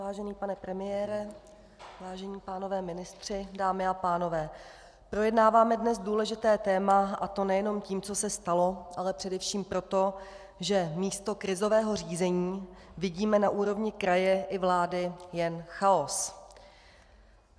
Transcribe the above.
Vážený pane premiére, vážení pánové ministři, dámy a pánové, projednáváme dnes důležité téma, a to nejenom tím, co se stalo, ale především proto, že místo krizového řízení vidíme na úrovni kraje i vlády jen chaos.